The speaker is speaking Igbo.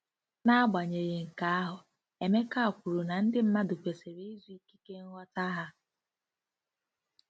N'agbanyeghị nke ahụ, Emeka kwuru na ndị mmadụ kwesịrị ịzụ ikike nghọta ha